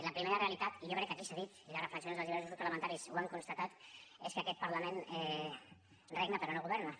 la primera realitat jo crec que aquí s’ha dit i les reflexions dels diversos grups parlamentaris ho han constatat és que aquest parlament regna però no governa